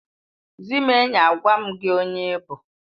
Zị m enyi, agwa m gị onye ị bụ